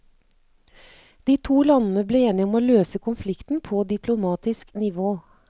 De to landene ble enige om å løse konflikten på diplomatisk nivå.